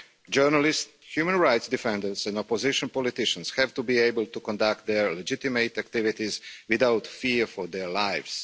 Journalists, human rights defenders and opposition politicians have to be able to conduct their legitimate activities without fear for their lives.